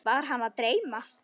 Var hana að dreyma?